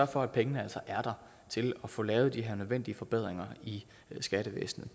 for at pengene altså er der til at få lavet de her nødvendige forbedringer i skattevæsenet